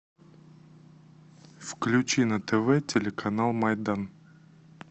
включи на тв телеканал майдан